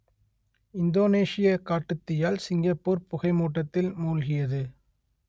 இந்தோனேசியக் காட்டுத்தீயால் சிங்கப்பூர் புகை மூட்டத்தில் மூழ்கியது